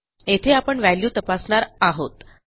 येथे आपण व्हॅल्यू तपासणार आहोत